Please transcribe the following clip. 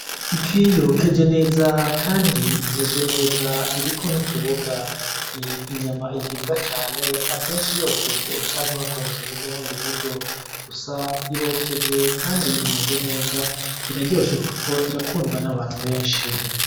Ifi yokeje neza kandi imeze neza iriko n' utuboga ni inyama iribwa cane akenshi yokeje canke bakoresheje ubundi buryo gusa irokeje kandi imeze neza iraryoshe kuko irakundwa n' abantu benshi.